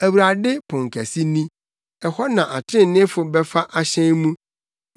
Awurade ponkɛse ni; ɛhɔ na atreneefo bɛfa ahyɛn mu.